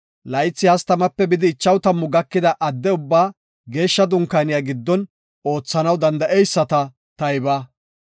Laythi 30-50 gakida adde ubbaa Geeshsha Dunkaaniya giddon oothanaw danda7eyisata tayba.